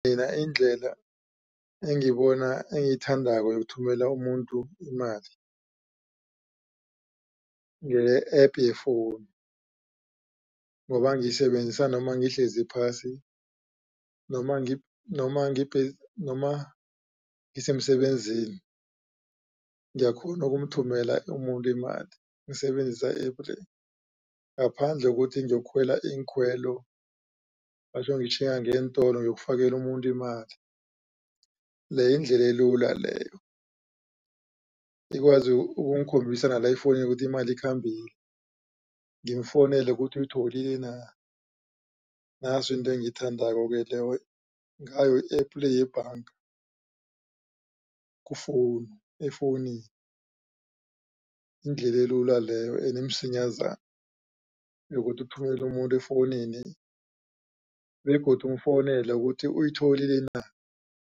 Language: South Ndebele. Mina indlela engiyibona engiyithandako yokuthumela umuntu imali ngeye-app ye-phone ngoba ngiyisebenzisa noma ngihlezi phasi noma ngisemsebenzini ngiyakghona ukumthumela umuntu imali ngisebenzisa i-app le. Ngaphandle kokuthi ngiyokukhwela iinkhwelo batjho ngitjhinga ngeentolo ukuyofakela umuntu imali leyo yindlela elula leyo. Ikwazi ukungikhombisa la efowunini ukuthi imali ikhambile ngimfowunele ukuthi uyitholile na. Naso into engiyithandako leyo ngayo i-app le yebhanga ku-phone efowunini indlela elula leyo enemsinyazana yokuthi uthumelele umuntu efowunini begodu umfowunele ukuthi uyitholile na.